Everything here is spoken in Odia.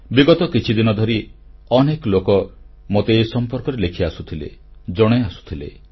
ବିଗତ କିଛିଦିନ ଧରି ଅନେକଲୋକ ମୋତେ ଏ ସମ୍ପର୍କରେ ଲେଖିଆସୁଥିଲେ ଜଣାଇ ଆସୁଥିଲେ